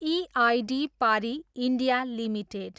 EID Parry, India, limited